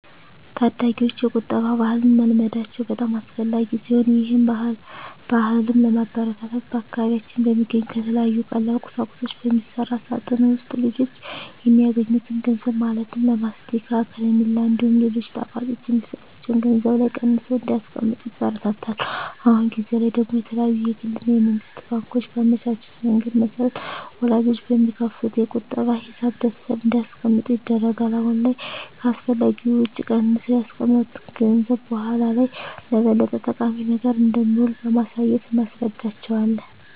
ታዳጊወች የቁጠባ ባህልን መልመዳቸው በጣም አስፈላጊ ሲሆን ይህን ባህልም ለማበረታታት በአካባቢያችን በሚገኙ ከተለያዩ ቀላል ቁሳቁሶች በሚሰራ ሳጥን ውስጥ ልጆች የሚያገኙትን ገንዘብ ማለትም ለማስቲካ፣ ከረሜላ እንዲሁም ሌሎች ጣፋጮች የሚሰጣቸው ገንዘብ ላይ ቀንሰው እንዲያስቀምጡ ይበረታታሉ። አሁን ጊዜ ላይ ደግሞ የተለያዩ የግል እና የመንግስት ባንኮች ባመቻቹት መንገድ መሰረት ወላጆች በሚከፍቱት የቁጠባ ሂሳብ ደብተር እንዲያስቀምጡ ይደረጋል። አሁን ላይ ከአላስፈላጊ ወጪ ቀንሰው ያስቀመጡት ገንዘብ በኃላ ላይ ለበለጠ ጠቃሚ ነገር እንደሚውል በማሳየት እናስረዳቸዋለን።